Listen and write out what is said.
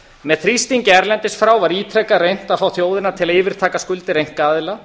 með þrýstingi erlendis frá var ítrekað reynt að fá þjóðina til að yfirtaka skuldir einkaaðila